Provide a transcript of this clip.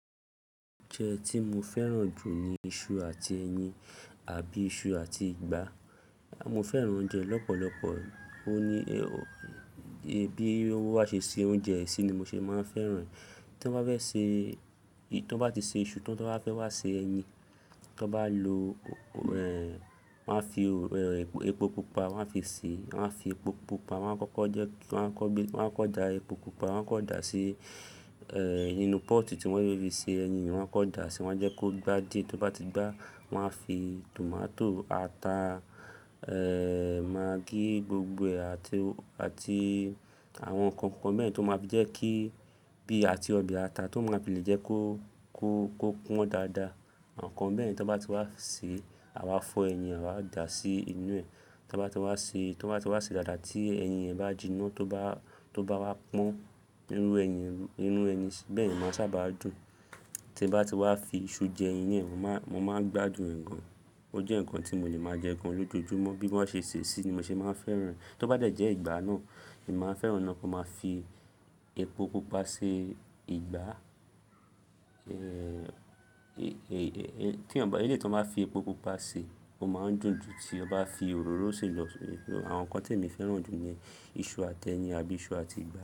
Oúnjẹ tí mo fẹ́ràn jù ni iṣu àti ẹyin àbí iṣu àti ìgbá. Mo fẹ́ràn oúnjẹ lọ́pọ̀lọpọ̀. Ó ní, ẹbí owó bá ṣe ṣe oúnjẹ sí ni mo ṣe máa ń fẹ́ràn rẹ̀. Tí wọ́n bá fẹ́ ṣe, tí wọ́n bá ti ṣe iṣu tí wọ́n bá fẹ́ wá ṣe ẹyin, tí wọ́n bá lo, ẹ̀, wọ́n máa fi epo pupa wọ́n máa fi sè, wọ́n máa fi epo pupa wọ́n máa kọ́kọ́ jẹ, wọ́n á kọ́ gbe, wọ́n á kọ da epo pupa wọ́n á kọ dà sí, ẹ, inú pọ́ọ̀tù tí wọ́n fe fi ṣe ẹyin ni wọ́n á kọ dà sí, wọ́n á jẹ́ kó gbá díẹ̀ tí ó bá ti gbá wọ́n máa fi tòmátò, ata, ẹ, magí gbogbo ee àti, àti àwọn nǹkan kan mẹ́ẹ̀ni tó máa ń jẹ́ kí bí i àti ọbẹ̀ ata tó máa ń fi le jẹ́ kó, kó, kó pọ́n dáadáa. Àwọn nǹkan beyen tí wọ́n bá ti wá fi sè a wá fọ ẹyin, a wá dà sí inú ẹ̀. Tí wọ́n bá ti wá sè, tí wọ́n bá ti wá sè dáadáa tí ẹyin yẹn bá jiná tó bá, tó bá wá pọ́n irú ẹyin, irú ẹyin bẹ́ẹ̀ ni máa sábà á dùn. Tí ẹ bá ti wá fi iṣu jẹ ẹyin ni mo máa, mo máa ń gbádùn ẹ̀ gan. Ó jẹ́ ǹkan tí mo leè máa jẹ gan lójoojúmọ́. Bí wọ́n ṣe sè ẹ sí ni mo ṣe máa ń fẹ́ràn rẹ̀. Tí ó bá dẹ̀ jẹ́ ìgbá náà, èmi máa fẹ́ràn ó náà kí wọ́n máa fi epo pupa ṣe ìgbá. Ẹ, tí ọn, eléyìí tí wọ́n bá fi epo pupa ṣe, ó máa ń dùn jù tí o bá fi òróró sè lọ. Àwọn nǹkan tí èmi fẹ́ràn jù ni iṣu àti ẹyin àbí iṣu àti ìgbá.